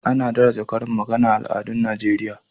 Ana daraja karin magana a al'adun Najeriya.